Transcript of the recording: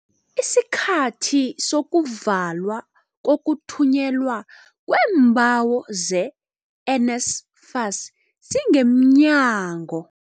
Isikhathi Sokuvalwa Kokuthunyelwa Kweembawo ze-NSFAS Singemnyango